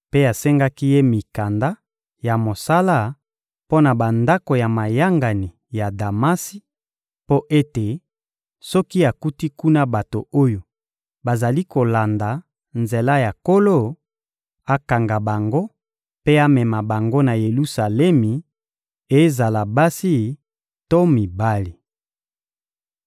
mpe asengaki ye mikanda ya mosala mpo na bandako ya mayangani ya Damasi, mpo ete, soki akuti kuna bato oyo bazali kolanda nzela ya Nkolo, akanga bango mpe amema bango na Yelusalemi, ezala basi to mibali.